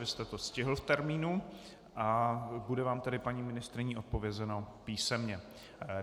Vy jste to stihl v termínu a bude vám tedy paní ministryní odpovězeno písemně.